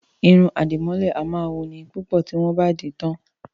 Irun àdìmọ́lẹ̀ a máa wuni púpọ̀ tí wọ́n bá dì í tán